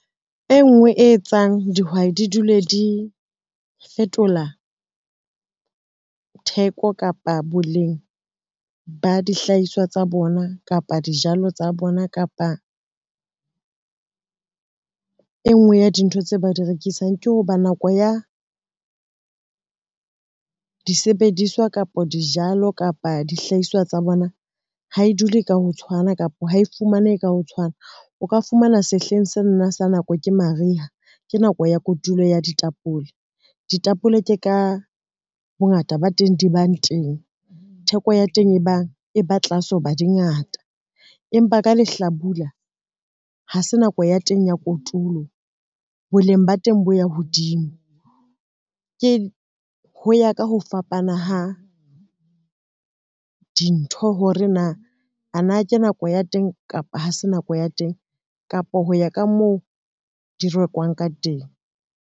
E ngwe e etsang dihwai di dule di fetola theko kapa boleng ba dihlahiswa tsa bona kapa dijalo tsa bona kapa e ngwe ya dintho tse ba di rekisang, ke ho ba nako ya disebediswa, kapa dijalo, kapa dihlahiswa tsa bona, ha e dule ka ho tshwana kapa ha e fumanehe ka ho tshwana. O ka fumana sehleng senana sa nako ke mariha, ke nako ya kotulo ya ditapole, ditapole ke ka bongata ba teng di bang teng theko ya teng e bang e ba tlase ho ba di ngata, empa ka lehlabula ha se nako ya teng ya kotulo, boleng ba teng bo ya hodimo ho ya ka ho fapana ha dintho hore na a na ke nako ya teng, kapa ha se nako ya teng, kapa ho ya ka moo di rekwang ka teng.